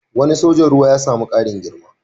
Wani sojan ruwa ya sami ƙarin girma